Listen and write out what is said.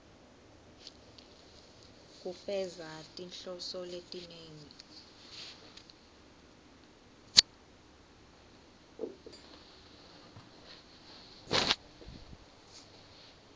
kufeza tinhloso letinengi